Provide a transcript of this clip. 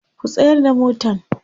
ku tsayar da motan!.